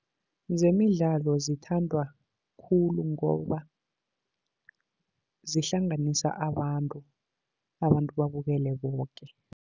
Zemidlalo zithandwa khulu, ngoba zihlanganisa abantu, abantu babukele boke.